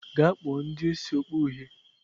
Gaa kpọọ ndị isi okpu uhie!